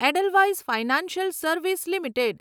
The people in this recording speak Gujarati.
Edelweiss financial service limited